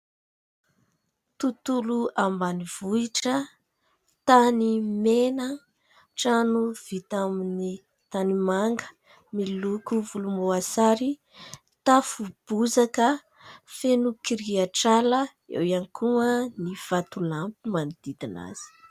Tontolo ambanivohitra, tany mena, trano vita amin'ny tany manga miloko volomboasary, tafo bozaka. Feno kirihatr'ala; eo ihany koa ny vatolampy manodidina azy.